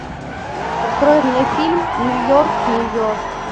открой мне фильм нью йорк нью йорк